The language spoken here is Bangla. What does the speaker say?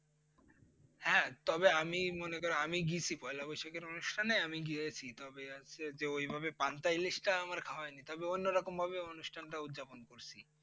হ্যাঁ তবে আমি মনে করো আমি গেছি পয়লা বৈশাখের অনুষ্ঠানে আমি গিয়েছি তবে আজকে যে ওইভাবে পান্তা ইলিশটা আমার খাওয়া হয়নি তবে অন্য রকম ভাবে অনুষ্ঠানটা উৎযাপন করছি।